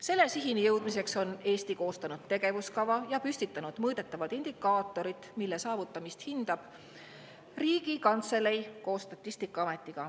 Selle sihini jõudmiseks on Eesti koostanud tegevuskava ja püstitanud mõõdetavad indikaatorid, mille saavutamist hindab Riigikantselei koos Statistikaametiga.